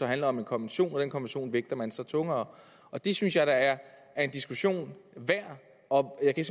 handler om en konvention og den konvention vægter man så tungere det synes jeg da er en diskussion værd og jeg kan